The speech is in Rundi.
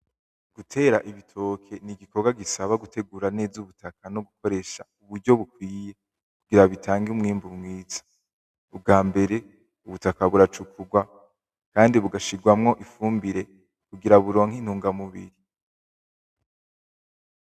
Gutera ibitoke nigikorwa gisaba gukoresha neza ubutaka no gukoresha uburyo bukwiye kugira bitange umwimbu mwiza. Ubwambere ubutaka buracukurwa kandi bugashirwamwo ifumbire kugira buronke intungamubiri.